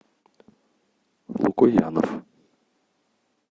лукоянов